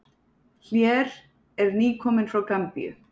Hlér er nýkominn frá Gambíu.